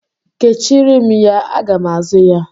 Kechiere m ya. Aga m azụ ya.